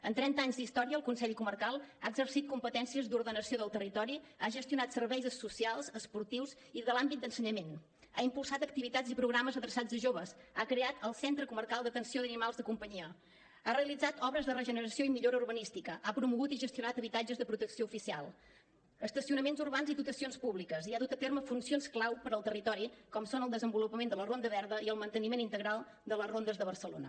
amb trenta anys d’història el consell comarcal ha exercit competències d’ordenació del territori ha gestionat serveis socials esportius i de l’àmbit d’ensenyament ha impulsat activitats i programes adreçats a joves ha creat el centre comarcal d’atenció als animals de companyia ha realitzat obres de regeneració i millora urbanística ha promogut i gestionant habitatges de protecció oficial estacionaments urbans i dotacions públiques i ha dut a terme funcions clau per al territori com són el desenvolupament de la ronda verda i el manteniment integral de les rondes de barcelona